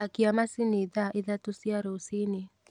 akia macini thaa ithatũ cia rũciini